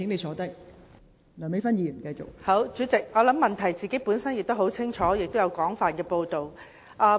好，代理主席，我想問題本身已經十分清楚，並已有廣泛的報道。